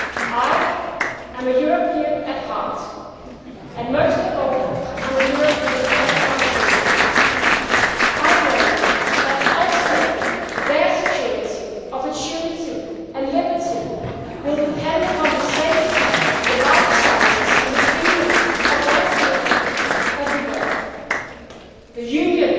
Europe. I am a European at heart and, most of all, I am a European for my children. I know that ultimately their security, opportunity and liberty will depend upon the safety, the life chances and the freedom of their generation everywhere.